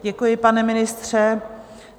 Děkuji, pane ministře.